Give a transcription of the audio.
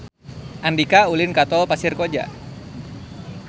Andika ulin ka Tol Pasir Koja